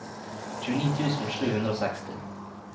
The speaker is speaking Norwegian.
tjueni tusen sju hundre og seksti